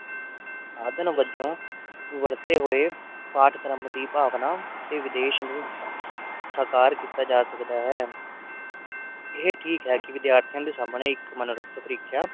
ਆਧਨ ਵਜੋਂ ਜਾਵੋ ਵਰਤੇ ਹੋਏ ਪਾਠ ਕਰਮ ਦੀ ਭਾਵਨਾ ਤੇ ਵਿਦੇਸ਼ ਨੂੰ ਸਕਾਰ ਕੀਤਾ ਜਾ ਸਕਦਾ ਹੈ ਇਹ ਠੀਕ ਹੈ ਕਿ ਵਿਦਿਆਰਥੀਆਂ ਦੇ ਸਾਮਣੇ ਇਕ ਮਨੋਰਥ ਪ੍ਰੀਖਿਆ